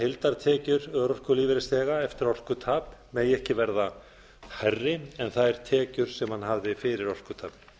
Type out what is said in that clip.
heildartekjur örorkulífeyrisþega eftir orkutap megi ekki verða hærri en þær tekjur sem hann hafði fyrir orkutap